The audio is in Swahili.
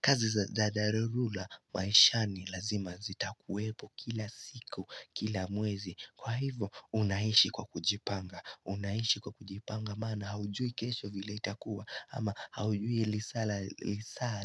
Kazi za dadarulula maishani lazima zita kuwepo kila siku kila mwezi kwa hivo unaishi kwa kujipanga unaishi kwa kujipanga maana haujui kesho vile itakuwa ama haujui lisaa